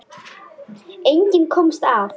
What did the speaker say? Enginn komst af.